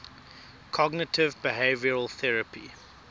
cognitive behavioral therapy